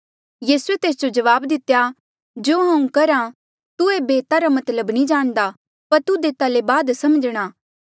यीसूए तेस जो जवाब दितेया जो हांऊँ करहा तू एेबे एता रा मतलब नी जाणदा पर तुध एता ले बाद समझणा